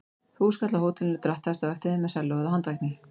Húskarl af hótelinu drattaðist á eftir þeim með sellóið á handvagni.